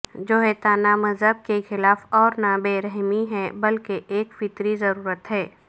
جیوہتیانہ مذہب کے خلاف اورنہ بے رحمی ہے بلکہ ایک فطری ضرورت ہے